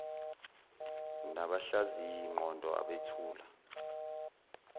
nabahlaziyi ngqondo abethula